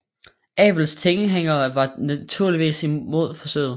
Abels tilhængere var naturligvis imod forsøget